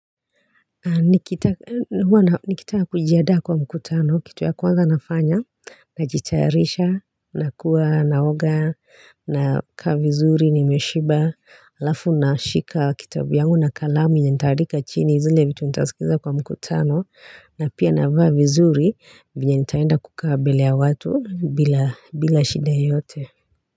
Nikitaka kujiadaa kwa mkutano kitu ya kwanza nafanya najitayarisha nakuwa naoga nakaa vizuri nimeshiba alafu nashika kitabu yangu na kalamu yenye nitaandika chini zile vitu nitasikiza kwa mkutano na pia navaa vizuri vyenye nitaenda kukaa mbele ya watu bila bila shida yote.